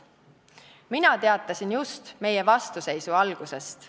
Mina teatasin just meie vastuseisu algusest.